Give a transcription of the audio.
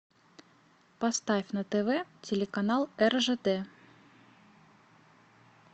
поставь на тв телеканал ржд